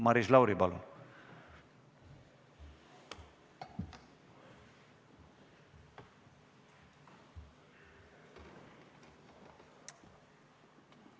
Maris Lauri, palun!